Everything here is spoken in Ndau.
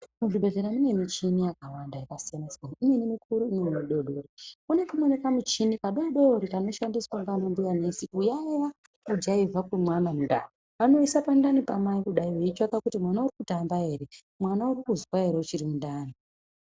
Muzvibhedhera mune michini yakawanda yakasiyana-siyana, imweni mikuru imweni midodori. Pane kamweni kamuchini kadodori kanoshamdiswa ndiana sekuru nana mbuya kuyaiya kujaivha kwemwana mundani. Vanoisa pandani pamai kudai veitsvanga kuti mwana urikutamba ere, mwana urikuzwa ere uchirimundani.